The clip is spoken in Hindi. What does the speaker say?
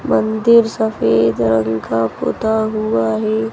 मंदिर सफेद रंग का पूता हुआ हैं।